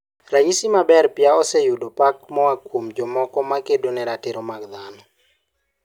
Ranyisi maber Pia oseyudo pak moa kuom jomoko ma kedo ne ratiro mar dhano.